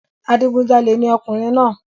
Adigunjalè ni ọkùnrin náà